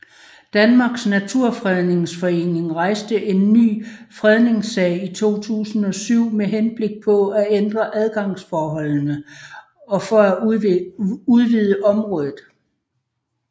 Danmarks Naturfredningsforening rejste en ny fredningssag i 2007 med henblik på at ændre adgangsforholdene og for at udvide området